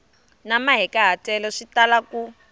na mahikahatelo swi tala ku